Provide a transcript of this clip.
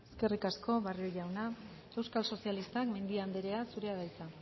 eskerrik asko barrio jauna euskal sozialistak mendia anderea zurea da hitza